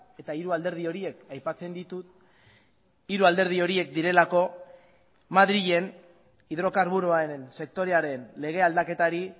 eta hiru alderdi horiek aipatzen ditut hiru alderdi horiek direlako madrilen hidrokarburoaren sektorearen lege aldaketari